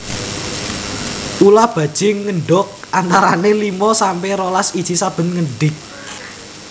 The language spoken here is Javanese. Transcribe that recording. Ula bajing ngendog antarané limo sampe rolas iji sabené ngendig